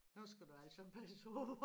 Nu skal du altså passe på